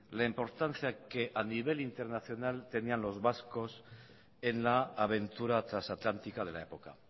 la importancia que a nivel internacional tenían los vascos en la aventura trasatlántica de la época